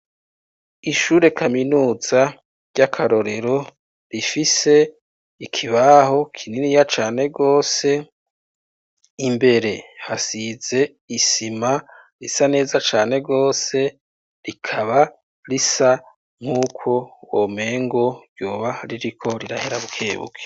Ishure kaminuza ry'akarorero rifise ikibaho kininiya cane gose, imbere hasize isima risa neza cane gose, rikaba risa nk'uko womengo ryoba ririko rirahera bukebuke.